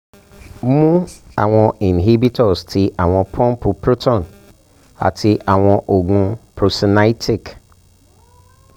mu awọn inhibitors ti awọn pumpu proton ati awọn oogun procinetic